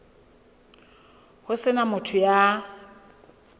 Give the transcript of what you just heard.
ho se na motho ya